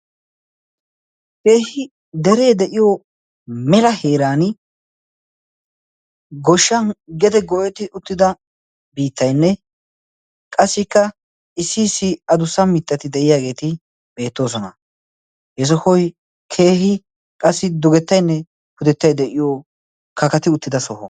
keehi deree de7iyo mela heeran goshshan gede goeti uttida biittainne qassikka issi issi adussa mixxati de7iyaageeti beettoosona yesohoi keehi qassi dugettainne pudettai de7iyo kakati uttida soho